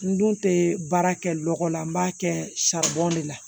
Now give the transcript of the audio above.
N dun tɛ baara kɛ lɔgɔ la n b'a kɛ de la